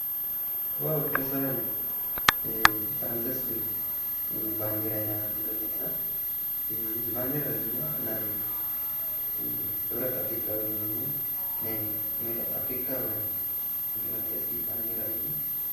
ዋው ደስ ባሀሊ ብጣዕሚ ደስ ዝብል ባንዴራ ኢና ሪኢና እዚ ባንዴራ ድማ ናይ ሕብረት ኣፍሪካ ወይ ድማ ኣፍሪካውያን መግለፂ እዩ፡፡